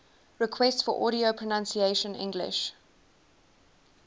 requests for audio pronunciation english